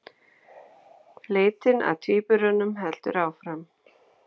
Leitin að tvíburunum heldur áfram